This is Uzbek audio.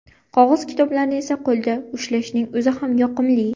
Qog‘oz kitoblarni esa qo‘lda ushlashning o‘zi ham yoqimli.